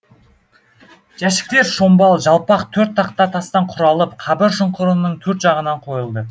жәшіктер шомбал жалпақ төрт тақта тастан құралып қабір шұңқырының төрт жағынан қойылды